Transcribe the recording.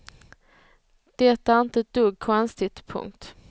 Det är inte ett dugg konstigt. punkt